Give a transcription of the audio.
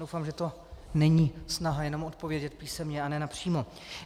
Doufám, že to není snaha jenom odpovědět písemně a ne napřímo.